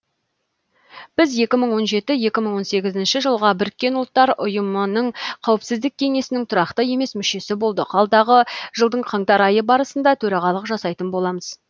біз жылға бұұ қауіпсіздік кеңесінің тұрақты емес мүшесі болдық алдағы жылдың қаңтар айы барысында төрағалық жасайтын боламыз